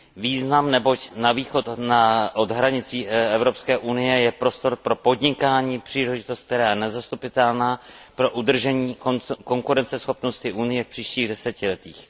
Význam, neboť na východ od hranic Evropské unie je prostor pro podnikání, příležitost, která je nezastupitelná pro udržení konkurenceschopnosti Unie v příštích desetiletích.